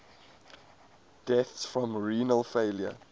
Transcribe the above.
deaths from renal failure